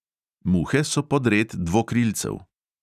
Muhe so podred dvokrilcev.